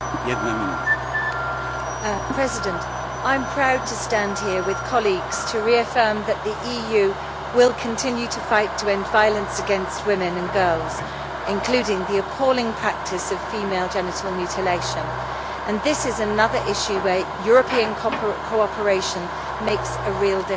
Mr President, I am proud to stand here with colleagues to reaffirm that the EU will continue to fight to end violence against women and girls, including the appalling practice of female genital mutilation and this is another issue where European cooperation makes a real difference.